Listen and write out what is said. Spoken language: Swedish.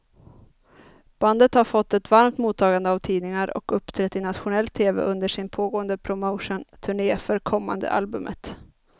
Bandet har fått ett varmt mottagande av tidningar och uppträtt i nationell tv under sin pågående promotionturné för kommande albumet.